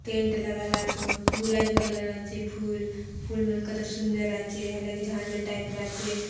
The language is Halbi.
टेंट लगल आचो गुलाबी कलर आचे फूल फूल मन कतक सुन्दर आचे लगे झांजर टाइप आचे।